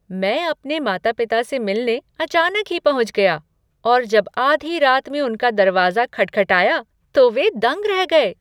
मैं अपने माता पिता से मिलने अचानक ही पहुँच गया और जब आधी रात में उनका दरवाज़ा खटखटाया तो वे दंग रह गए!